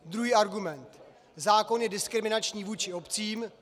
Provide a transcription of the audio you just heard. Druhý argument - zákon je diskriminační vůči obcím.